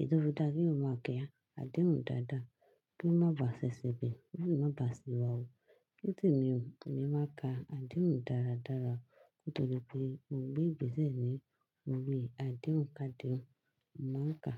Ẹ dára kí o máa kíyàn àdéhùn dáadáa kí ó má ba à ṣẹ̀ṣẹ̀ bíi, kí ó sì má ba à ṣì wọ̀. Ní tèmi, èmi máa n ka àdéhùn dáradára nítorí pé mo gbé ìgbésé ní orí àdéhùn kádìọ́nù, màá ka.